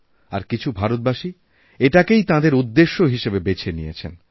আর কিছু ভারতবাসী এটাকেই তাঁদেরউদ্দেশ্য হিসাবে বেছে নিয়েছেন